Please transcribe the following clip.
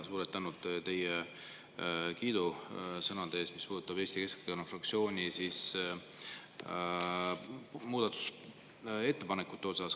Suured tänud teie kiidusõnade eest, mis puudutasid Eesti Keskerakonna fraktsiooni muudatusettepanekuid!